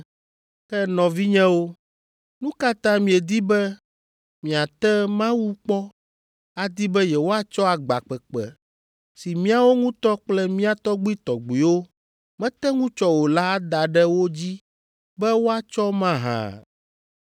Ke nɔvinyewo, nu ka ta miedi be miate Mawu kpɔ adi be yewoatsɔ agba kpekpe si míawo ŋutɔ kple mía tɔgbuitɔgbuiwo mete ŋu tsɔ o la ada ɖe wo dzi be woatsɔ mahã?